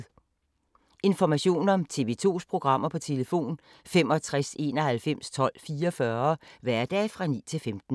Information om TV 2's programmer: 65 91 12 44, hverdage 9-15.